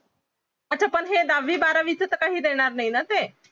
अच्छा पण हे दहावी बारावीचा तर काही देणार नाही ना ते